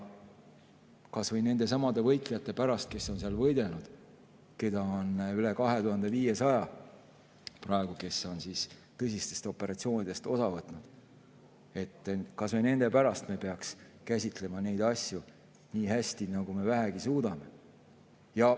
Kas või nendesamade võitlejate pärast, kes on võidelnud, keda on praegu üle 2500, kes on tõsistest operatsioonidest osa võtnud, kas või nende pärast me peaks käsitlema neid asju nii hästi, nagu me vähegi suudame.